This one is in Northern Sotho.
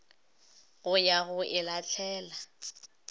go ya go e lahlela